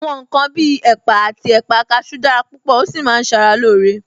Àwọn ǹkan bí ẹ̀pà àti ẹ̀pà kasú dára púpò, ó sì máa ń sara loore